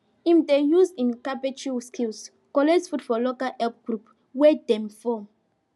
him dey use im carpentry skills collect food for local help group wey dem form